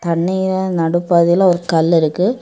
தண்ணிய நடுப்பாதையில ஒரு கல் இருக்கு.